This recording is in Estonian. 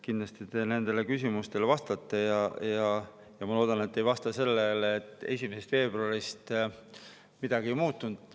Kindlasti te nendele küsimustele vastate ja ma loodan, et te ei vasta nii, et 1. veebruarist midagi ei muutunud.